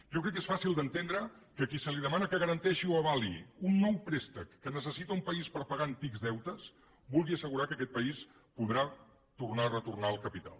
jo crec que és fàcil d’entendre que a qui se li demana que garanteixi o avali un nou préstec que necessita un país per pagar antics deutes vulgui assegurar que aquest país podrà tornar a retornar el capital